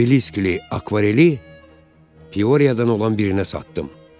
Obeliski, akvareli Pioryadan olan birinə satdım.